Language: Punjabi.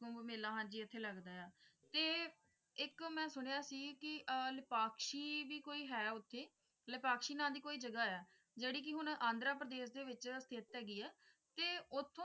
ਕੁੰਭ ਮੇਲਾ ਹਾਂਜੀ ਐਥੇ ਹੀ ਲੱਗਦਾ ਹੈ ਆ ਤੇ ਇੱਕ ਮੈਂ ਸੁਣਿਆ ਸੀ ਕੇ ਇੱਕ ਲਿਪਾਕਸ਼ੀ ਵੀ ਕੋਈ ਹੈ ਉਥੇ ਲਿਪਾਕਸ਼ੀ ਨਾਮ ਦਿ ਕੋਈ ਜਗਾਹ ਹੈ ਜੇੜੀ ਕਿ ਹੁਣ ਆਂਧਰਾਪ੍ਰਦੇਸ਼ ਦੇ ਵਿਚ ਸਥਿਤ ਹੈਗੀ ਹੈ ਤੇ ਉਥੋਂ